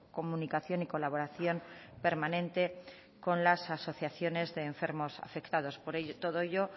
comunicación y colaboración permanente con las asociaciones de enfermos afectados por ello por todo ello